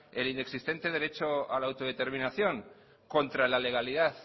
el inexistente derecho a la autodeterminación contra la legalidad